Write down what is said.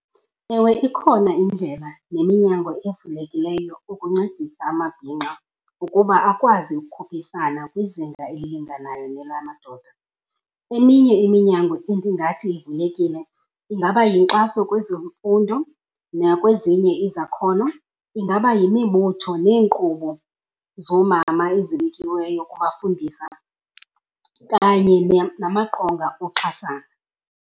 Ewe, ikhona indlela neminyango evulekileyo ukuncedisa amabhinqa ukuba akwazi ukukhuphisana kwizinga elilinganayo nelamadoda. Eminye iminyango endingathi ivulekile ingaba yinkxaso kwezemfundo nakwezinye izakhono, ingaba yimibutho neenkqubo zoomama ezibekiweyo ukuwafundisa, kanye namaqonga oxhasana.